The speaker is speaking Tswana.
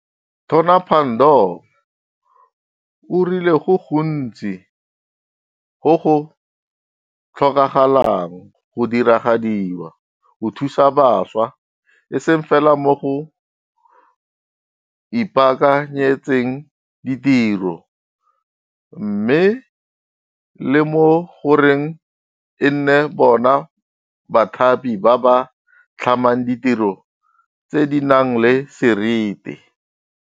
Tona Pandor o rile go gontsi go go tlhokagalang go diragadiwa, go thusa bašwa e seng fela mo go ipaakanyetseng ditiro, mme le mo goreng e nne bona bathapi ba ba tlhamang ditiro tse di nang le serite.